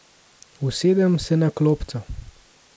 Usedem se na klopco.